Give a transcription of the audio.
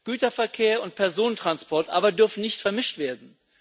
Güterverkehr und Personentransport aber dürfen nicht vermischt werden.